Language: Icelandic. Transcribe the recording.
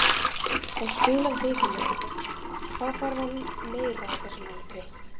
Hann spilar vikulega, hvað þarf hann meira á þessum aldri?